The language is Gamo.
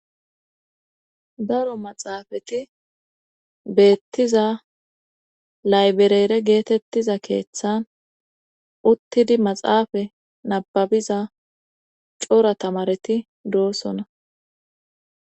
Daro maxaafati beettiza laybereere geetettiza keeththan uttidi maxaafa nababiza cora tamareti doossona.